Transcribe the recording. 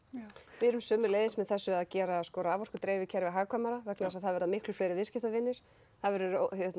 við erum sömuleiðis með þessu að gera raforkudreifikerfið hagkvæmara það verða miklu fleiri viðskiptavinir það verður